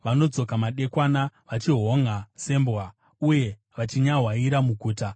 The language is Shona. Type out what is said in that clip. Vanodzoka madekwana, vachihonʼa sembwa, uye vachinyahwaira muguta.